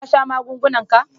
Ka sha magungunan ka?